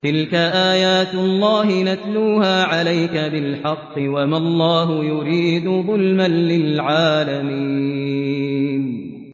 تِلْكَ آيَاتُ اللَّهِ نَتْلُوهَا عَلَيْكَ بِالْحَقِّ ۗ وَمَا اللَّهُ يُرِيدُ ظُلْمًا لِّلْعَالَمِينَ